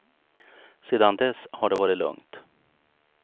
Sedan dess har det varit lugnt.